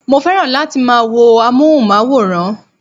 Mo fẹ́ràn láti máa wo amóhùnmáwòrán